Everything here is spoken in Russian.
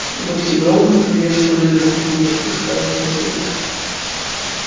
гости громко приветствовали друг друга спускаясь на землю